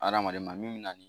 Adamaden ma min na nin